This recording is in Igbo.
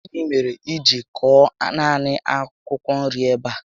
Gịnị mèrè I ji kọọ naanị akwụkwọ nri ebe a?